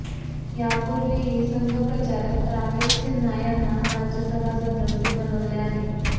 यापूर्वीही संघ प्रचारक राकेश सिन्हा यांना राज्यसभा सदस्य बनवले आहे